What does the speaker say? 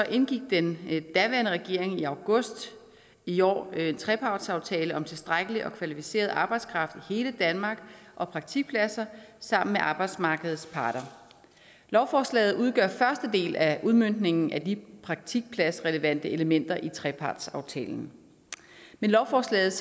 indgik den daværende regering i august i år en trepartsaftale om tilstrækkelig og kvalificeret arbejdskraft i hele danmark og praktikpladser sammen med arbejdsmarkedets parter lovforslaget udgør første del af udmøntningen af de praktikpladsrelevante elementer i trepartsaftalen med lovforslaget